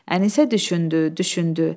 Ənisə düşündü, düşündü.